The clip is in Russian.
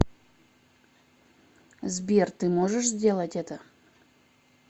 сбер ты можешь сделать это